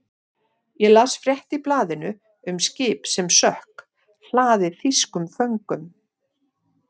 Ég las frétt í blaðinu um skip sem sökk, hlaðið þýskum föngum.